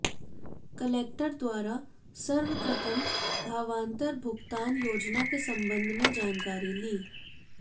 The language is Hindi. कलेक्टर द्वारा सर्वप्रथम भावांतर भुगतान योजना के संबंध में जानकारी ली